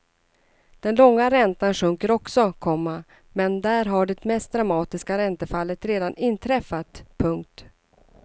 Den långa räntan sjunker också, komma men där har det mest dramatiska räntefallet redan inträffat. punkt